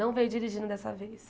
Não veio dirigindo dessa vez.